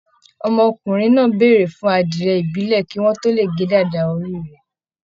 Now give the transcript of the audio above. Ọmọkùnrin náà béèrè fún adiẹ ibilẹ kí wọn tó lè ge dàda orí rẹ.